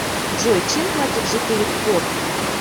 джой чем платят жители корфу